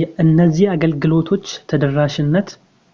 የእነዚህ አገልግሎቶች ተደራሽነት